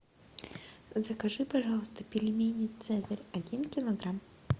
закажи пожалуйста пельмени цезарь один килограмм